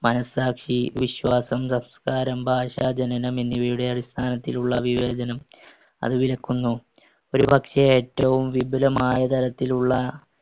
മനസ്സാക്ഷി, വിശ്വാസം, സംസ്‌കാരം, ഭാഷ, ജനനം എന്നിവയുടെ അടിസ്ഥാനത്തിലുള്ള വിവേചനം അത് വിലക്കുന്നു. ഒരുപക്ഷെ ഏറ്റവും വിപുലമായ തരത്തിലുള്ള